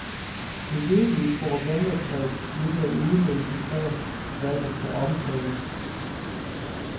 Det virkelige propagandatrick ligger i udvælgelsen af, hvad der skal omtales.